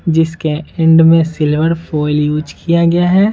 जिसके एंड में silver foil use किया गया है।